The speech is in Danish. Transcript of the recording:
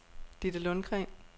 Didde Lundgren